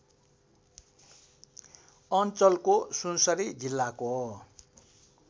अञ्चलको सुनसरी जिल्लाको